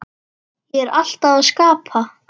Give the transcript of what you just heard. Ég er alltaf að skapa